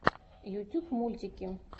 ютюб мультики